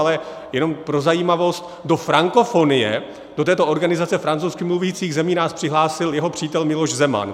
Ale jenom pro zajímavost, do Frankofonie, do této organizace francouzsky mluvících zemí, nás přihlásil jeho přítel Miloš Zeman.